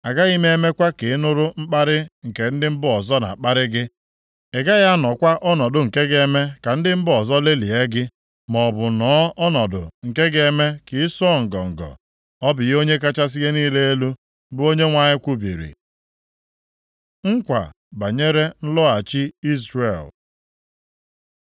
Agaghị m emekwa ka ị nụrụ mkparị nke ndị mba ọzọ na-akparị gị. Ị gaghị anọkwa ọnọdụ nke ga-eme ka ndị mba ọzọ lelịa gị, maọbụ nọọ ọnọdụ nke ga-eme ka ị sọọ ngọngọ. Ọ bụ ihe Onye kachasị ihe niile elu, bụ Onyenwe anyị kwubiri.’ ” Nkwa banyere nlọghachi Izrel